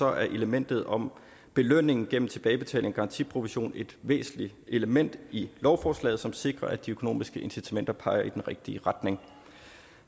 er elementet om belønning gennem tilbagebetaling af garantiprovision et væsentligt element i lovforslaget som sikrer at de økonomiske incitamenter peger i den rigtige retning